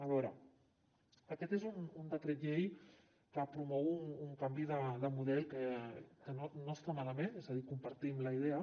a veure aquest és un decret llei que promou un canvi de model que no està malament és a dir en compartim la idea